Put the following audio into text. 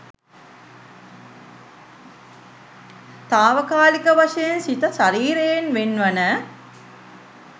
තාවකාලික වශයෙන් සිත ශරීරයෙන් වෙන්වන